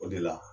O de la